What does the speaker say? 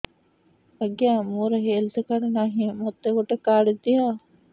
ଆଜ୍ଞା ମୋର health card ନାହିଁ ମୋତେ ଗୋଟେ କାର୍ଡ ଦିଅ